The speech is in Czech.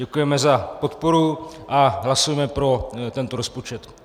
Děkujeme za podporu a hlasujeme pro tento rozpočet.